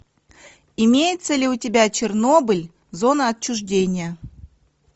имеется ли у тебя чернобыль зона отчуждения